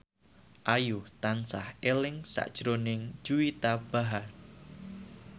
Ayu tansah eling sakjroning Juwita Bahar